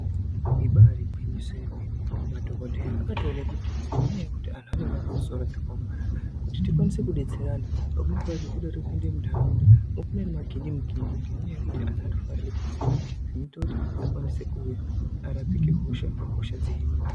Ibarigwinyiso yemene madhokodheya akatoone kuti nenyaya yekuti antu anenge aine misoro dzakaomarata kuti tikwanise kubatsira vantu pamweni pachoda zvinoda kutopinde muntaraunda vopinda ngemagindimukindi ngenyaya yekuti vandu vanoda kufara zvinoita kuti vakwanise kuuya kuti varapuke kuti hosha dzihinike .